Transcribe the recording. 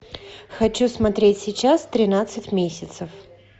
хочу смотреть сейчас тринадцать месяцев